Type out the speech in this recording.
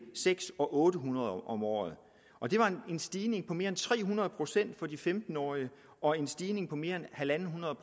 seks og otte hundrede om året og det var en stigning på mere end tre hundrede procent for de femten årige og en stigning på mere end en hundrede